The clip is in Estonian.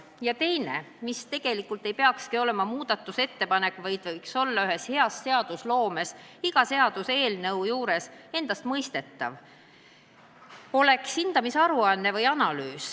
Ja teine, mis tegelikult ei peakski olema muudatusettepanek, vaid võiks olla hea seadusloome korral iga eelnõu puhul endastmõistetav: et oleks hinnanguaruanne või analüüs.